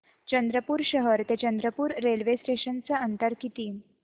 चंद्रपूर शहर ते चंद्रपुर रेल्वे स्टेशनचं अंतर किती